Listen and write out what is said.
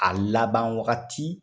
A laban wagati